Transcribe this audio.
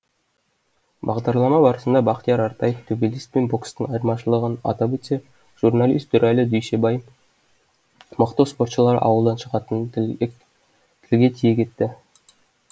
бағдарлама барысында бахтияр артаев төбелес пен бокстың айырмашылығын атап өтсе журналист дүрәлі дүйсебай мықты спортшылар ауылдан шығатындығын тілге тиек етті